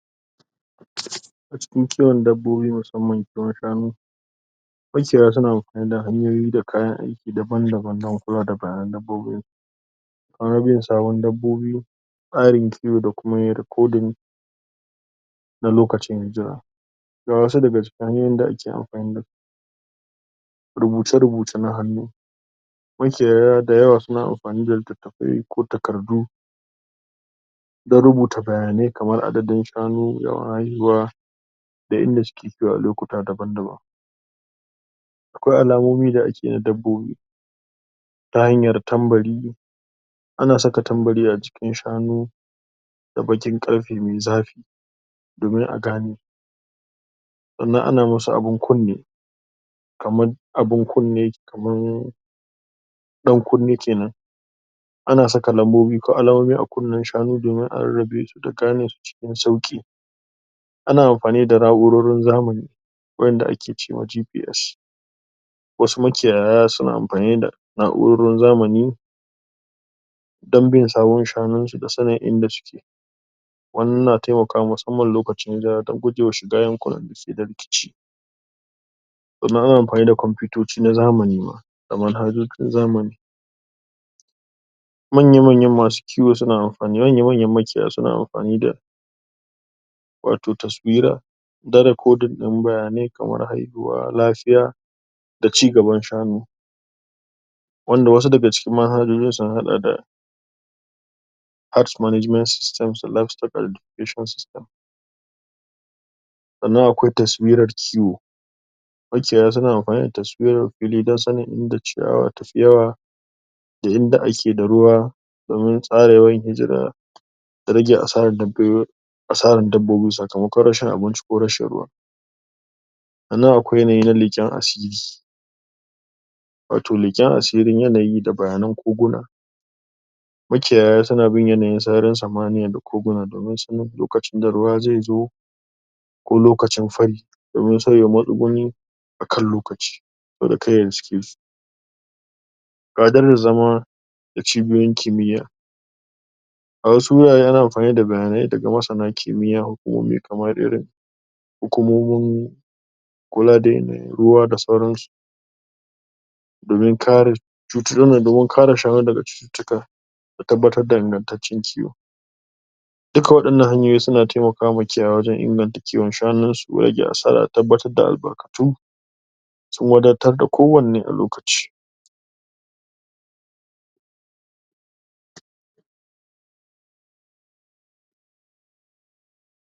A cikin kiwon dabbobi musamman shanu makiyaya suna amfani da hanyoyi da kayan aiki daban-daban na kula da bayanan dabbobi sabon dabbobi tsarin kiwo da kuma yin rikodin da lokacin jira. Ga wasu daga cikin hanyoyin da ake amfani da su rubuce-rubuce na hannu Makiyaya da yawa suna amfani da littattafai ko takardu don rubuta bayanai kamar adadin shanu, yawan haihuwa, da inda suke kiwo a lokuta daban-daban. Akwai alamomi da ake yi na dabbobi ta hanyar tambari Ana saka tambari a cikin shanu da baƙin ƙarfe mai zafi domin a gane. Sannan ana musu abin kunne kamar abin kunne, kamar ɗan kunne ke nan. Ana saka lambobi ko alamomi a kunnen shanu domin a rarrabe a da gane su cikin sauƙi. Ana amfani da na'urorin zamani waƴanda ake ce ma GPS. Wasu makiyaya suna amfani da na'urorin zamani don bin sawun shanunsu da sanin inda suke. Wannan na taimakawa musamman lokacin hijira don guje wa shiga yankunan da suke da rikici. Sannan ana mafani da kwamfutoci na zamani ma, da manhajojin zamani Manya-manyan masu kiwo suna amfani, manya-manyan makiyaya suna amfani da wato taswira don rikodin ɗin bayanai kamar haihuwa, lafiya da ci gaban shanu. wanda wasu daga cikin manhajohin sun haɗa da: Task Management System, Livestock Identification System Sannan akwai taswirar kiwo Makiyay suna amfani da taswirar din sanin inda ciyawa ta fi yawa da inda ake da ruwa domin tsara yawan hijira. Da rage asarar, asarar dabbobi sakamakon rashin abinci ko rashin ruwa. Sannan akwai yanayi na leƙen asiri wato, leƙen asirin yanayi da bayanan koguna Makiyaya suna bin yanayin sararin samaniya da koguna domin sanin lokacin da ruwa zai zo ko lokacin fari, domin saboda matsuguni a kan lokaci saboda kar ya riske su. zama da cibiyoyin kimiyya A wasu wurare an amfani da bayanai daga masana kimiyya, hukumomi kamar irin hukumomin kula da yanayin ruwa da sayransu. domin kare cut, domin kare shanu daga cututtuka da tabbatar da ingantaccen kiwo. Duka waɗannan hanyoyi suna taimakawea makiyaya wajen inganta kiwon shanunsu ko rage asara da tabbatar da albarkatu. Sun wadatar da kowanne a lokaci.